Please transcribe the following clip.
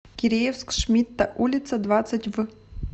киреевск шмидта улица двадцать в